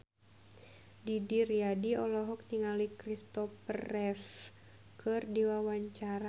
Didi Riyadi olohok ningali Christopher Reeve keur diwawancara